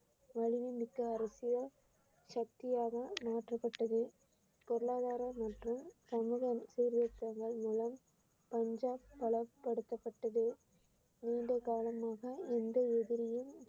வலிமைமிக்க அரசியல் சக்தியாக மாற்றப்பட்டது பொருளாதாரம் மற்றும் சமூக சீர்திருத்தங்கள் மூலம் பஞ்சாப் பலப்படுத்தப்பட்டது நீண்ட காலமாக எந்த எதிரியும்